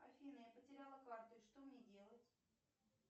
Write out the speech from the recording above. афина я потеряла карту и что мне делать